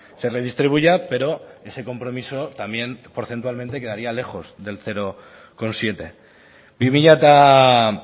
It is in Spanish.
se redistribuya pero ese compromiso también porcentualmente quedaría lejos del cero coma siete bi mila